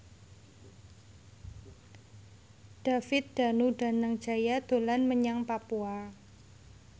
David Danu Danangjaya dolan menyang Papua